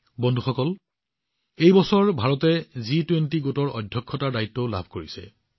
বন্ধুসকল এই বছৰ ভাৰত জি২০ গোটৰ অধ্যক্ষতাৰ দায়িত্ব লাভ কৰিছে